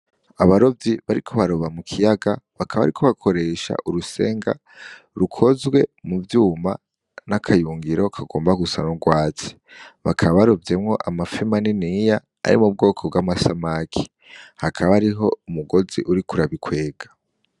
Abarovyi bariko baroba mu kiyaga bakaba bariko bakoresha urusenga rukozwe muvyuma nakayungiro kagomba gusa nurwatsi bakaba barovyemwo amafi maniniya ari mu bwoko bwamasake hakaba hariho umugozi uriko urabikwega.